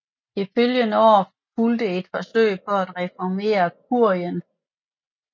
Det følgende år fulgte et forsøg på at reformere Kurien